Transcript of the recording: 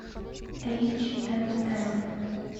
эйч энд эм